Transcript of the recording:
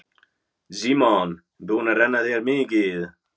Símon: Búin að renna þér mikið?